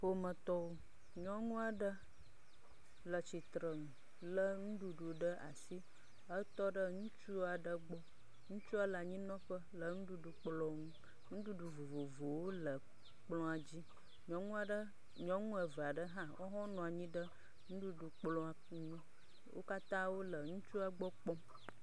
Ƒometɔwo. Nyɔnua ɖe le tsitrenu le nuɖuɖu ɖe asi hetɔ ɖe ŋutsu aɖe gbɔ. Ŋutsua le anyinɔƒe le nuɖuɖu kplɔ nu. Nuɖuɖu vovovowo le kplɔa dzi. Nyɔnua ɖe, nyɔnu eve aɖe hã wo ho nɔ anyi ɖe nuɖuɖu kplɔ ŋu wo katã wole ŋutsua gbɔ kpɔm.